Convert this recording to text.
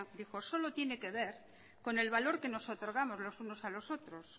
dijo solo tiene que ver con el valor que nos otorgamos los unos a los otros